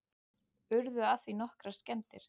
Urðu af því nokkrar skemmdir